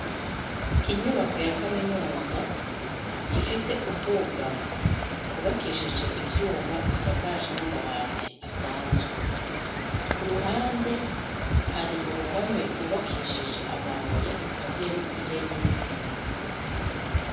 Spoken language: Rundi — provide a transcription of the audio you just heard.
Inyubako ya kaminuza, ifise ubwugamo, bwubakishije ivyuma, busakaje n'amabati, asanzwe; ku ruhande, hari uruhome, rwubakishije amabuye, rukaziye n'umusenyi, n'isima.